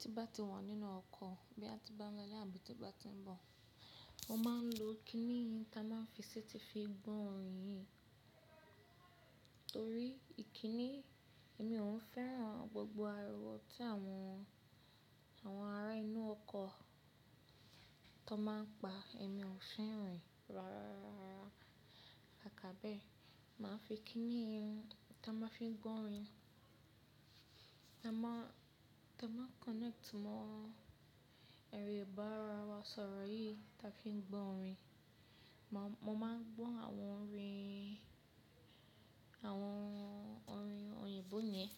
Tí bá ti wà nínú ọkọ̀ bí a ti bá ń lọ láìpẹ́ tí ó bá ti ń bọ̀, mo máa ń lo kíní tí a máa ń fi séètì fi gbọ́ orin. Torí ìkíní èmi ò ń fẹ́ràn gbogbo ariwo tí àwọn ará inú ọkọ̀ tó máa ń pa, èmi ò ń fẹ́ rìn. Rárá, àkọ́bẹ̀ẹ́, mà á fi kíní tí a máa ń fi gbọ́ orin, tí a máa ń connect mọ́ ẹ̀rọ ìbánisọ̀rọ̀ yìí tí a fi ń gbọ́ orin. Mo máa ń gbọ́ àwọn orin, àwọn orin òyìnbó yẹn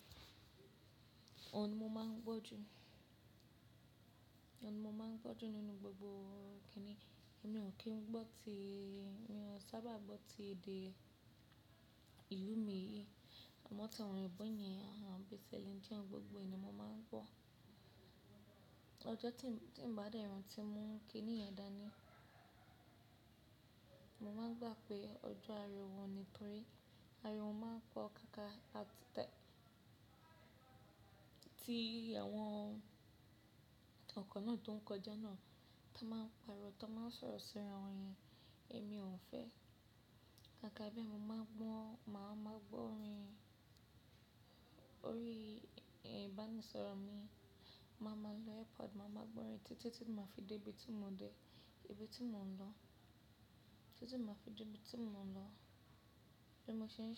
ni mo máa ń gbọ́ jù nínú gbogbo kínì. Èmi ò kí ń gbọ́ ti, mi ò sábà gbọ́ ti èdè ìlú mi yìí. Àmọ́ tí àwọn òyìnbó yẹn, àwọn betelhem tí wọn gbogbo ni mo máa ń gbọ́. Ọjọ́ tí ń bá dẹ́rùn tí mo ń kíní yẹn dáa ni, mo máa gbà pé ọjọ́ ariwo ni torí ariwo máa ń pọ̀ káàkà àti ti àwọn ọkọ̀ náà tó ń kọjá náà táa máa ń pariwo, táa máa ń sọ̀rọ̀ síra orin èmi ò ń fẹ́. Akọ́bẹ̀ẹ́ mo máa gbọ́n, mà á máa gbọ́ orin orí ìbánisọ̀rọ̀ mi. Mà á máa lo earpod, mà á máa gbọ́ orin títí tí mà á fi dé ibi tí mò ń lọ. Bí mo ṣe ń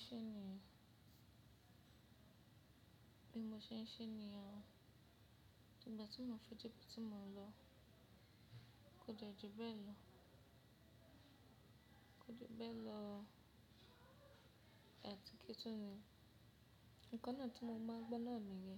ṣe ní, tígbà tí mò ń fi dé ibi tí mò ń lọ, kò jọ̀ọ́ ju bẹ́ẹ̀ lọ. Kò jọ̀ọ́ bẹ́ẹ̀ lọ, àti kí tó ní, nǹkan náà tí mo máa gbọ́ náà ni gé.